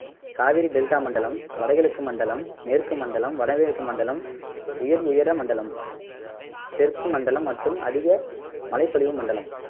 Kaveri delta மண்டலம் வடகிழக்கு மண்டலம் மேற்கு மண்டலம் வடமேற்கு மண்டலம் உயர் உயர மண்டலம் தெற்கு மண்டலம் மற்றும் அதிக மழைப்பொலிவு மண்டலம்